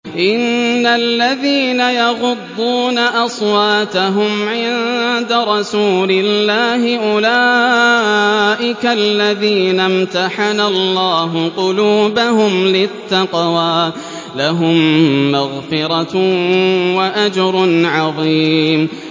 إِنَّ الَّذِينَ يَغُضُّونَ أَصْوَاتَهُمْ عِندَ رَسُولِ اللَّهِ أُولَٰئِكَ الَّذِينَ امْتَحَنَ اللَّهُ قُلُوبَهُمْ لِلتَّقْوَىٰ ۚ لَهُم مَّغْفِرَةٌ وَأَجْرٌ عَظِيمٌ